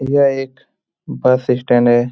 यह एक bus stand है।